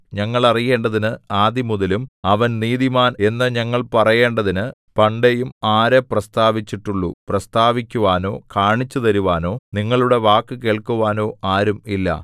ഞങ്ങൾ അറിയേണ്ടതിന് ആദിമുതലും അവൻ നീതിമാൻ എന്നു ഞങ്ങൾ പറയേണ്ടതിന് പണ്ടേയും ആര് പ്രസ്താവിച്ചിട്ടുള്ളു പ്രസ്താവിക്കുവാനോ കാണിച്ചുതരുവാനോ നിങ്ങളുടെ വാക്കു കേൾക്കുവാനോ ആരും ഇല്ല